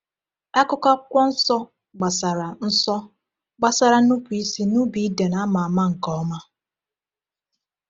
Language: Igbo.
Akụkọ Akwụkwọ Nsọ gbasara Nsọ gbasara nnupụisi n’ubi Iden a ma ama nke ọma.